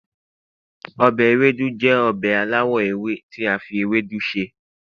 obe Ewédú jẹ obe alawọ ewe ti a fi ewédu sè